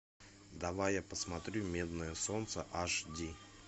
давай я посмотрю медное солнце аш ди